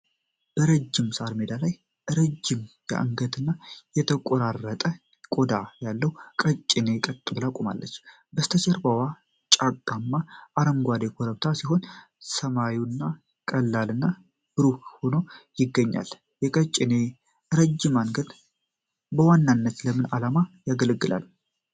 በረጅም ሣር ሜዳ ላይ ረጃጅም አንገት እና የተቆራረጠ ቆዳ ያለው ቀጭኔ ቀጥ ብሎ ቆሟል። ከበስተጀርባው ጫካማ እና አረንጓዴ ኮረብታዎች ሲሆኑ፣ ሰማዩም ቀላልና ብሩህ ሆኖ ይገኛል። የቀጭኔ ረጅም አንገት በዋናነት ለምን ዓላማ ያገለግላል?